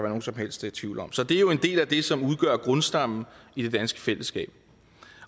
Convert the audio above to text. nogen som helst tvivl om så det er jo en del af det som udgør grundstammen i det danske fællesskab